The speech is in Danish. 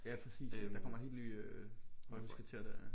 Ja præcis der kommer helt nye øh højhuskvarterer der ja